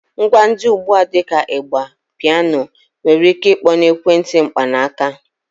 Ngwa dị ugbu a dị ka ịgbà, piano nwere ike ịkpọ na ekwentị mkpanaaka.